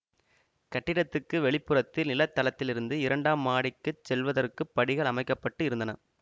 கட்டிடத்துக்கு வெளிப்புறத்தில் நில தளத்திலிருந்து இரண்டாம் மாடிக்குச் செல்வதற்கு படிகள் அமைக்க பட்டு இருந்தன